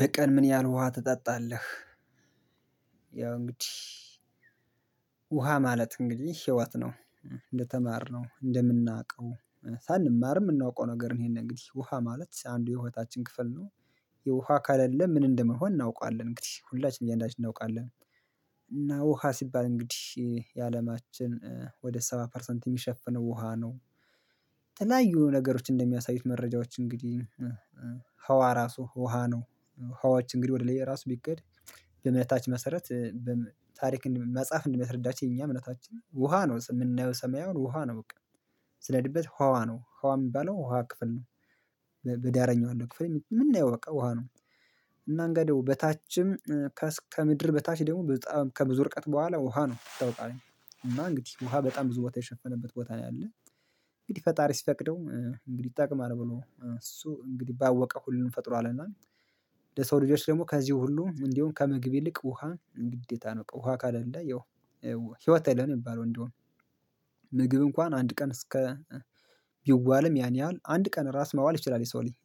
በቀን ምን ያህል ውሃ ትጠጣለህ? ያው እንግዲህ ውሃ ማለት እንግዲህ ህይወት ነው። እንደተማርነው እንደምናውቀው ሳንማር የምናውቀው ነገር ነው ይሄን እንግዲህ ውሃ ማለት አንዱ የውሃታችን ክፍል ነው። የውሃ ከለለ ምን እንደምንሆን እናውቃለን እንግዲህ ሁላችንም እያንዳንዳችን እናውቃለን። እና ውሃ ሲባል እንግዲህ የአለማችን ወደ ሰባ ፐርሰንት የሚሸፍነው ውሃ ነው። የተለያዩ ነገሮች እንደሚያሳዩት መረጃዎች እንግዲህ ህዋ ራሱ ውሃ ነው። ህዋዎች እንግዲህ ወደ ላይ ራሱ ቢከድ። ለእምነታች መሰረት በታሪክ መጻፍ እንደምታስረዳችን የኛ እምነታችን ውሃ ነው የምናየው ሰማያዊ ውሃ ነው በቃ። ስነድበት ህዋ ነው ህዋ የሚባለው ውሃ ክፍል ነው። በዳረኛው አለ ክፍል የምናየው በቃ ውሃ ነው። እና እንጋይ ደግሞ በታችም ከምድር በታች ደግሞ በጣም ከብዙ ርቀት በኋላ ውሃ ነው ይታወቃል። እና እንግዲህ ውሃ በጣም ብዙ ቦታ የሸፈነበት ቦታ ነው ያለው። እንግዲህ ፈጣሪ ሲፈቅደው እንግዲህ ይጠቅማል ብሎ እሱ እንግዲህ ባወቀ ሁሉም ፈጥሮልና። ለሰው ልጆች ደግሞ ከዚህ ሁሉ እንዲሁ ከምግብ ይልቅ ውሃ ግዴታ ነው ውሃ ከሌለ ያው። ህይወት አይደለም የሚባለው እንደሆነ። ምግብ እንኳን አንድ ቀን እስከ ይዋለም ያን ያህል አንድ ቀን ራስ መዋል ይችላል የሰው ልጅ።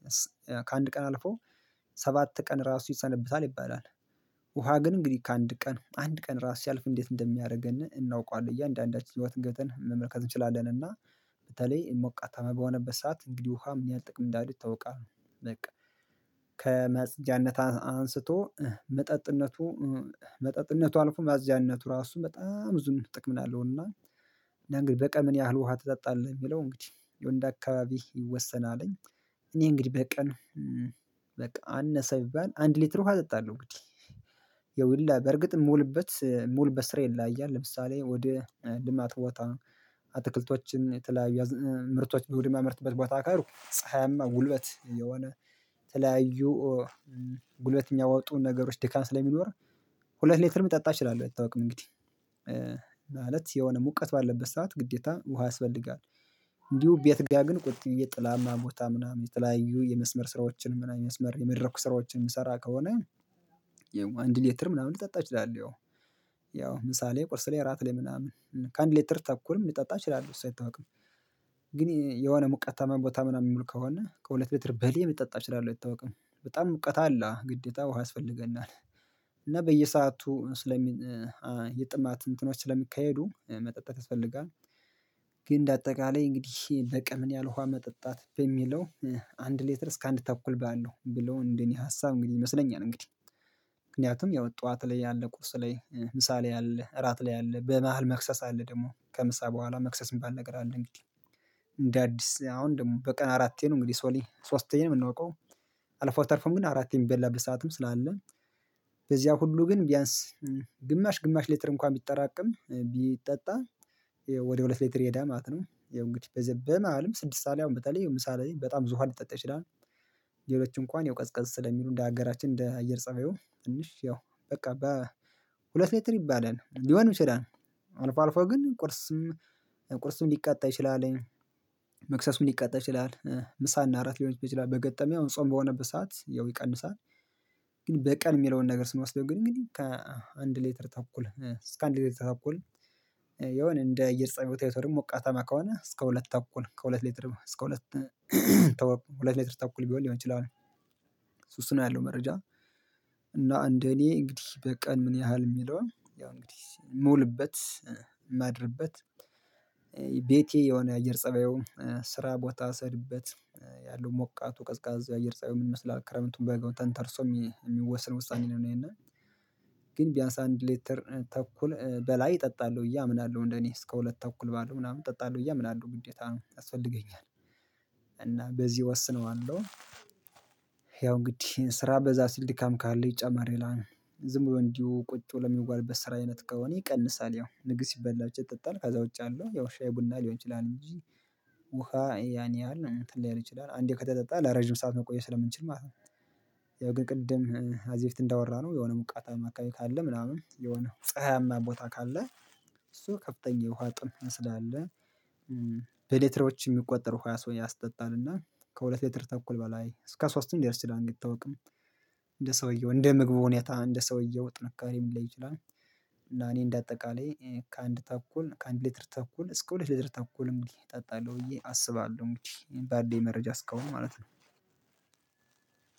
ከአንድ ቀን አልፎ ሰባት ቀን ራሱ ይሰነብታል ይባላል። ውሃ ግን እንግዲህ ከአንድ ቀን አንድ ቀን ራስ ሲያልፍ እንዴት እንደሚያደርገን እናውቀዋለን እያንዳንዳችን ህይወት ገብተን መመልከት እንችላለን። በተለይ ሞቃታማ በሆነበት ሰዓት እንግዲህ ውሃ ምን ያህል ጥቅም እንዳሉ ይታወቃል። በቃ ከመጽጃነት አንስቶ መጠጥነቱ መጠጥነቱ አልፎ ማፅጃነቱ ራሱ በጣም ብዙ ጥቅም አለውና። እና እንግዲህ በቀን ምን ያህል ውሃ ትጠጣለህ የሚለው እንግዲህ እንደ አካባቢ ይወሰናልኝ። እኔ እንግዲህ በቀን በቃ አነሰ ቢባል አንድ ሊትር ውሃ እጠጣለሁ እንግዲህ። ያው ሁላ በእርግጥም የምውልበት ስራ ይለያያል ለምሳሌ ወደ ልማት ቦታ ነው አትክልቶችን የተለያየ ምርቶችን ወደ ማመርትበት ቦታ ከሄድኩ ፀሀያማ ጉልበት የሆነ ተለያዩ ጉልበት የሚያወጡ ነገሮች ድካም ስለሚኖር። ሁለት ሌትርም ልጠጣ እችላለሁ አይታወቅም እንግዲህ ማለት የሆነ ሙቀት ባለበት ሰዓት ግዴታ ውሃ ያስፈልጋል። እንዲሁ ቤት ጋር ግን ቁጭ ብዬ ጥላማ ቦታ ምናምን የተለያዩ የመስመር ስራዎችን ምናምን መስመር የመድረክ ስራዎችን የምሰራ ከሆነ። አንድ ሌትር ምናምን ልጠጣ ይችላል ያው ምሳሌ ቁርስ ላይ እራት ላይ ምናምን ከ አንድ ሌተር ተኩል ምናምን ልጠጣ እችላለሁ እሱ አይታወቅም። ግን የሆነ ሙቀታማ ቦታ ምናምን የምውል ከሆነ ከሁለት ሌትር በላይ ልጠጣ እችላለው ይታወቃል በጣም ሙቀት አለ ግዴታ ውሃ ያስፈልገናል። እና በየሰአቱ ስለሚ የጥማት እንትኖች ስለሚካሄዱ መጠጠት ያስፈልጋል። ግን እንደ አጠቃላይ እንግዲህ በቀን ምንያህል ውሃ መጠጣት በሚለው አንድ ሌትር እስከአንድ ተኩል ባለው ብሎ እንደኔ ሀሳብ እንግዲህ ይመስለኛል እንግዲህ። ምክንያቱም ያው ጠዋት ላይ ያለ ቁስል ላይ ምሳሌ አለ እራት ላይ አለ በመሃል መክሰስ አለ ደግሞ ከምሳ በኋላ መክሰስ የሚባል ነገር አለ እንግዲህ እንደ አዲስ አሁን ደግሞ በቀን አራቴ ነው እንግዲህ ሶሊ ሶስተኛ ነው የምናውቀው። አልፎ ተርፎም ግን አራቴ የሚበላበት ሰዓትም ስላለ። በዚያ ሁሉ ግን ቢያንስ ግማሽ ግማሽ ሌትር እንኳን ቢጠራቀም ቢጠጣ። ወደ ሁለት ሌትር ይሄዳል ማለት ነው። ያው እንግዲህ በዘበ መሃልም ስድስት ሰዓት ላይ አሁን በተለይ የምሳ ላይ በጣም ብዙ ውሃ ሊጠጣ ይችላል። ሌሎች እንኳን ያው ቀዝቀዝ ስለሚሉ እንደ ሀገራችን እንደ አየር ፀባዩ ትንሽ ያው በቃ በሁለት ሌትር ይባዳል ሊሆን ይችላል። አልፎ አልፎ ግን ቁርስም ቁርስም ሊቃጠል ይችላል። መክሰሱን ሊቃጠል ይችላል ምሳ እና እራት ሊሆን ይችላል በገጠሚው ጾም በሆነበት ሰዓት ያው ይቀንሳል። ግን በቀን የሚለውን ነገር ስንወስደው ግን ከአንድ ሌተር ተኩል እስከ አንድ ሌተር ተኩል። የሆነ እንደ እየር ጸባዊው ታይቶ ደግሞ ሞቃታማ ከሆነ እስከ ሁለት ተኩል ከሁለት ሊትር እስከ ሁለት ተኩል ሁለት ሊትር ተኩል ቢሆን ሊሆን ይችላል እሱ እሱ ነው ያለው መረጃ። እና እንደ እኔ እንግዲህ በቀን ምን ያህል የሚለውን ያው እንግዲህ ምውልበት ማድርበት። ቤቴ የሆነ የአየር ፀባዩን ስራ ቦታ ስሄድበት ያለው ሞቃቱ ቀዝቃዛ የአየር ፀባይ ምንይመስላል? ክረምቱን በጋው ተንተርሶ የሚወሰን ውሳኔ ነው ይሄንን። ግን ቢያንስ አንድ ሌተር ተኩል በላይ እጠጣለሁ ብዬ አምናለሁ እንደኔ እስከ ሁለት ተኩል ባለው ምናምን እጠጣልኝ ብዬ አምናለሁ አለው ግዴታ ነው ያስፈልገኛል። እና በዚህ እወስነዋለሁ ያው እንግዲህ ስራ በዛ ሲል ድካም ካለ ጨመር ይላል። ዝም ብሎ እንዲሁ ቁጭ ብሎ ሚዋልበት ስራ አይነት ከሆነ ይቀንሳል ያው ምግብ ሲበላ ብቻ ይጠጣል ከዛ ውጭ ያለው ያው ሻይ ቡና ሊሆን ይችላል እንጂ። ውሃ ያን ያህል እንትን ላይሆን ይችላል አንዴ ከተጠጣ ለረጅም ሰዓት መቆየት ስለምንችል ማለት ነው። ያው ግን ቅድም ከዚህ በፊት እንዳወራነው የሆነ ሙቃታማ አካባቢ ካለ ምናምን የሆነ ፀሀያማ ቦታ ካለ። እሱ ከፍተኛ የውሃ ጥምት ስላለ። በሌተሮች የሚቆጠሩ ሃያ ሰው ያስጠጣልና ከሁለት ሌትር ተኩል በላይ እስከ ሶስትም ሊደርስ ይችላል አይታወቅም። እንደ ሰውየው እንደ ምግቡ ሁኔታ እንደ ሰውየው ጥንካሬ ሊለይ ይችላል። እና እኔ እንደ አጠቃላይ ከአንድ ተኩል ከአንድ ሊትር ተኩል እስከ ሁለት ሊትር ተኩል እንዲህ እጠጣለሁ ብዬ አስባለሁ እንግዲህ ባለኝ መረጃ እስከአሁን ማለት ነው።